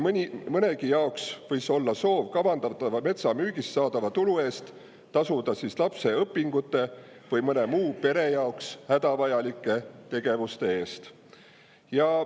Nii mõnelgi võis olla soov metsa kavandatavast müügist saadava tulu eest tasuda lapse õpingute või mõne muu pere jaoks hädavajaliku tegevuse eest.